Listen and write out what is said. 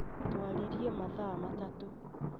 Twaririe mathaa matatũ